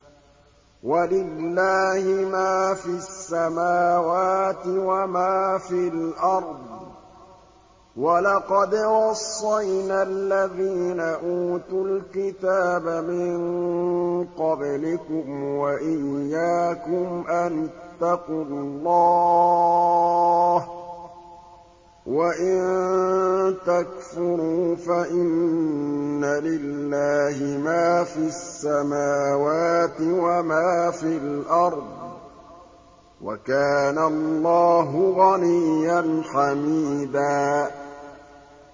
وَلِلَّهِ مَا فِي السَّمَاوَاتِ وَمَا فِي الْأَرْضِ ۗ وَلَقَدْ وَصَّيْنَا الَّذِينَ أُوتُوا الْكِتَابَ مِن قَبْلِكُمْ وَإِيَّاكُمْ أَنِ اتَّقُوا اللَّهَ ۚ وَإِن تَكْفُرُوا فَإِنَّ لِلَّهِ مَا فِي السَّمَاوَاتِ وَمَا فِي الْأَرْضِ ۚ وَكَانَ اللَّهُ غَنِيًّا حَمِيدًا